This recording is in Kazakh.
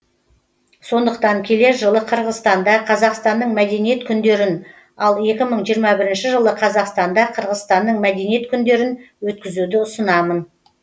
сондықтан келер жылы қырғызстанда қазақстанның мәдениет күндерін ал екі мың жиырма бірінші жылы қазақстанда қырғызстанның мәдениет күндерін өткізуді ұсынамын